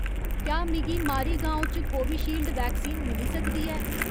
क्या मिगी मारीगाँव च कोविशील्ड वैक्सीन मिली सकदी ऐ